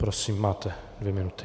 Prosím, máte dvě minuty.